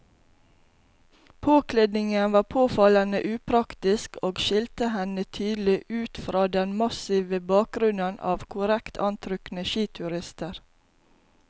Påkledningen var påfallende upraktisk og skilte henne tydelig ut fra den massive bakgrunnen av korrekt antrukne skiturister.